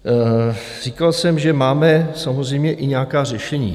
Říkal jsem, že máme samozřejmě i nějaká řešení.